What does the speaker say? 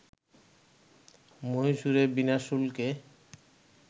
মহীশুরে বিনা শুল্কে